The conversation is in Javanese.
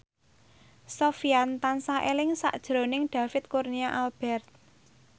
Sofyan tansah eling sakjroning David Kurnia Albert